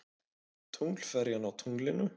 Tunglferjan á tunglinu.